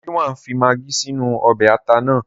Ridwan fi magí sínú ọbẹ̀ ata náà.